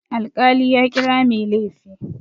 Alƙali ya kira mai laifi.